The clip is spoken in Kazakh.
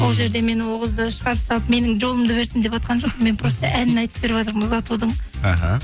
ол жерде мен ол қызды шығарып салып менің жолымды берсін деватқан жоқпын мен просто әнін атып беріватырмын ұзатудың іхі